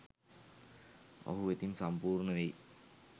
ඔහු වෙතින් සම්පූර්ණ වෙයි